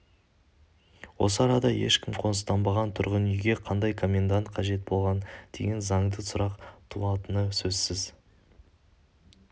осы арада ешкім қоныстанбаған тұрғын үйге қандай комендант қажет болған деген заңды сұрақ туатыны сөзсіз